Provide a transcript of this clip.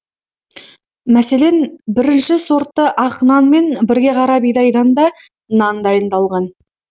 мәселен бірінші сортты ақ нан мен бірге қара бидайдан да нан дайындалған